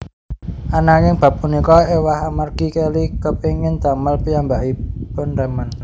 Ananging bab punika éwah amargi Kelly kepéngin damel piyambakiun remen